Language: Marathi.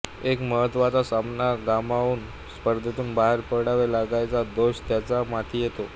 एक महत्त्वाचा सामना गमावून स्पर्धेतून बाहेर पडावे लागल्याचा दोष त्याच्या माथी येतो